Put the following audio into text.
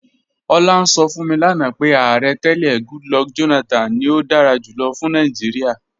Ọ̀lá ǹ sọ̀ fún mi lánà pé Ààrẹ̀ tẹlẹ̀ Goodluck Jonathan ni ó dára júlọ̀ fún Nàìjíríà.